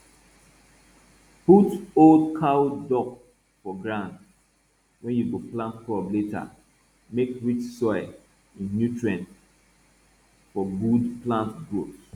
put old cow dung for ground wey you go plant crop later make soil rich in nutrient for good plant growth